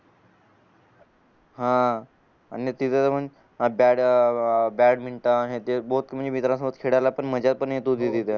हा बॅटमिंटन हे ते म्हणजे मित्रा सोबत खेळायला मजा पण येत होती तिथं